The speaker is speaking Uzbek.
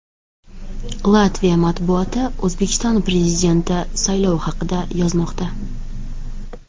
Latviya matbuoti O‘zbekiston Prezidenti saylovi haqida yozmoqda.